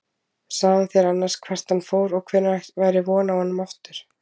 Sagði hann þér annars hvert hann fór og hvenær væri von á honum aftur?